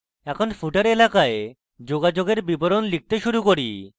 এখন footer এলাকায় যোগাযোগের বিবরণ লিখতে শুরু করি